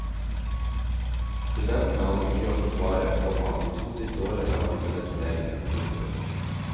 Studentene hadde mye å forsvare, komma de to siste årene har de vunnet turneringen. punktum